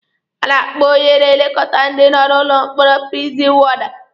A na-akpọ onye na-elekọta ndị nọ n'ụlọ mkpọrọ prizin wọda.